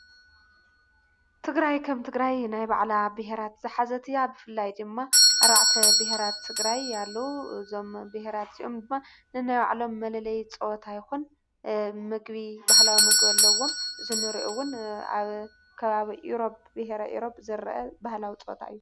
ትግራይ ከም ትግራይ ናይ ባዕላ ብሄራት ዝሓዘት እያ ብፍላይ ድማ ኣርባዕተ ብሄራት ትግራይ ኣለዉ እዞም ብሄራት እዚኦም ድማ ነናይባዕሎም መለለይ ጸወታ ይኹን ምግቢ ባህላዊ ምግቢ ኣለዎም እዚ እንኦ እውን ኣብ ከባብ ኢሮብ ብሔረ ኢሮብ ዝርአ ባህላዊ ጸወታ እዩ።